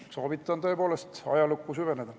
Soovitan tõepoolest ajalukku süveneda.